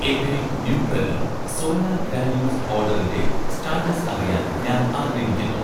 എൻ്റെ 'Nutrela ' soya granules ഓഡറിൻ്റെ status അറിയാൻ ഞാൻ ആഗ്രഹിക്കുന്നു